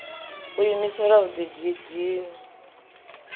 u diimisela na u didina